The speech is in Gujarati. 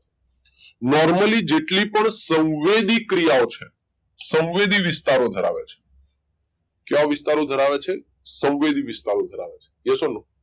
Normally જેટલી પણ સંવેદિક ક્રિયાઓ છે સંવેદી વિસ્તારો ધરાવે છે કેવા વિસ્તારો ધરાવે છે સંવેદી વિસ્તારો ધરાવે છે yes or no